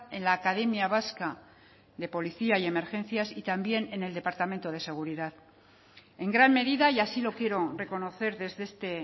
en la academia vasca de policía y emergencias y también en el departamento de seguridad en gran medida y así lo quiero reconocer desde este